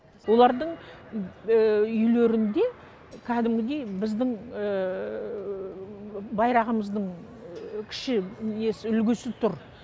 олардың үйлерінде кәдімгідей біздің байрағымыздың кіші несі үлгісі тұр